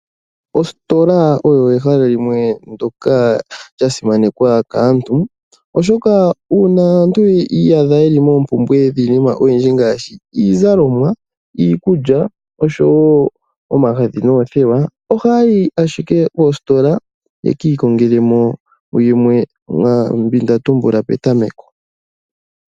Ositola oyo ehala limwe ndyoka lya simanekwa kaantu, oshoka uuna aantu yi iyadha ye li moompumbwe dhiinima oyindji ngaashi iizalomwa, iikulya nosho wo omagadhi noothewa ohaa yi ashike koositola ye ki ikongele mo yimwe yomwaa mbi nda tumbula petameko.